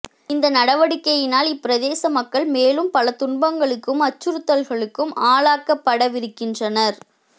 இந்த நடவடிக்கையினால் இப்பிரதேச மக்கள் மேலும் பல துன்பங்களுக்கும் அச்சுறுத்தல்களுக்கும் ஆளாக்கப்படவிருக்கின்றனர்